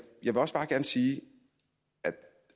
vil også bare gerne sige